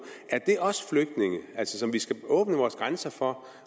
er det så også flygtninge som vi skal åbne vores grænser for